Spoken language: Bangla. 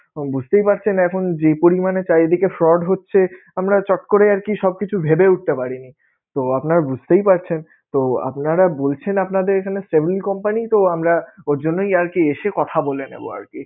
বুঝতেই পারছেন এখন যেই পরিমানে চারিদিকে fraud হচ্ছে আমরা চট করে আরকি সবকিছু ভেবে উঠতে পারিনি, তো আপনারা বুঝতেই পারছেনতো আপনারা বলছেন আপনাদের এখানে saving company তো আমরা ওর জন্যই এসে কথা বলে যাবো আরকি